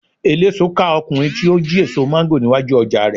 eleso ká ọkunrin ti o ji eso mango ni iwaju oja rẹ